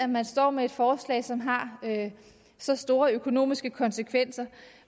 man står med et forslag som har så store økonomiske konsekvenser